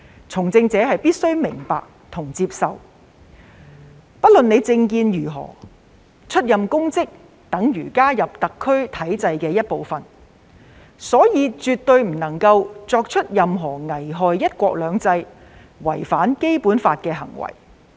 從政者必須明白及接受，不論政見為何，出任公職等於加入特區體制的一部分，所以絕對不能做出任何危害"一國兩制"及違反《基本法》的行為。